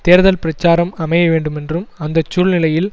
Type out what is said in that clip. தேர்தல் பிரச்சாரம் அமைய வேண்டுமென்றும் அந்த சூழ்நிலையில்